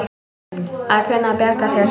Að kunna að bjarga sér!